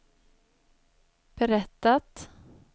berättat